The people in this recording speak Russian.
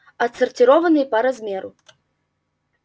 отсортированные по размеру